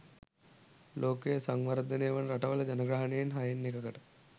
ලෝකයේ සංවර්ධනය වන රටවල ජනගහනයෙන් හයෙන් එකකට